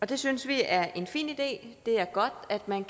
det synes vi er en fin idé det er godt at man